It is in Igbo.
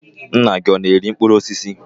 Nna gị ọ na-ere mkpụrụ osisi?